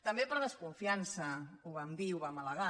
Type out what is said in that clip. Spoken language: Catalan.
també per desconfiança ho vam dir i ho vam al·legar